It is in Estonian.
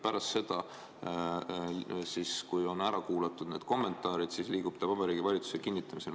Pärast seda, kui on ära kuulatud need kommentaarid, liigub see Vabariigi Valitsusele kinnitamiseks.